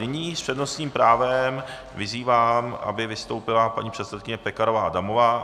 Nyní s přednostním právem vyzývám, aby vystoupila paní předsedkyně Pekarová Adamová.